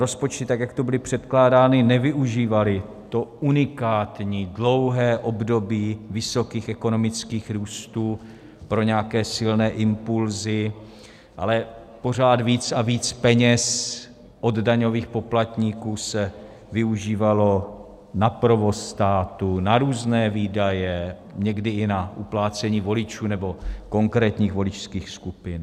Rozpočty, tak jak tu byly předkládány, nevyužívaly to unikátní dlouhé období vysokých ekonomických růstů pro nějaké silné impulsy, ale pořád víc a víc peněz od daňových poplatníků se využívalo na provoz státu, na různé výdaje, někdy i na uplácení voličů nebo konkrétních voličských skupin.